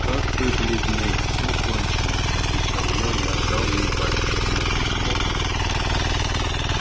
как вы бледны все кончено отвечал я и отдал ей батюшкино письмо